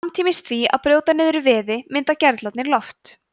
samtímis því að brjóta niður vefi mynda gerlarnir loft